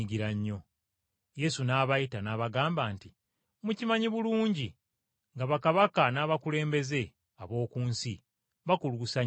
Yesu n’abayita n’abagamba nti, “Mumanyi ng’abakulembeze b’abamawanga, n’abakulu baabwe bakuluusanya abantu,